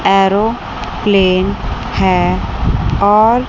airplane है और --